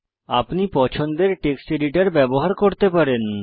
আপনি পছন্দের text editor ব্যবহার করতে পারেন